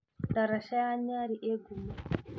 Ndaraca ya Nyali ĩĩ ngumo.